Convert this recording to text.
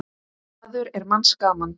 maður er manns gaman.